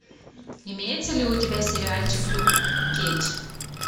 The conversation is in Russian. имеется ли у тебя сериальчик люк кейдж